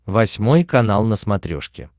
восьмой канал на смотрешке